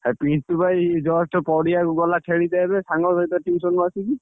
ହା ପିଣ୍ଟୁ ବା ଏଇ just ପଡିଆକୁ ଗଲା ଖେଳିତେ ଏବେ ସାଙ୍ଗ ସହିତ tuition ରୁ ଆସିକି।